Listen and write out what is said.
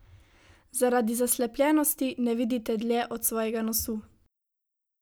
Zaradi zaslepljenosti ne vidite dlje od svojega nosu.